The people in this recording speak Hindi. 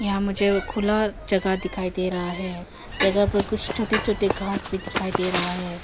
यहाँ मुझे खुला जगह दिखाई दे रहा है जगह पर कुछ छोटे छोटे घास भी दिखाई दे रहा है।